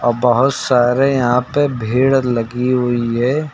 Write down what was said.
बहोत सारे यहां पे भीड़ लगी हुई है।